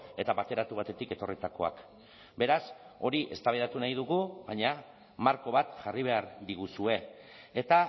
eta bateratu batetik etorritakoak beraz hori eztabaidatu nahi dugu baina marko bat jarri behar diguzue eta